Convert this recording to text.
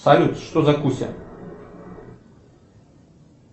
салют что за куся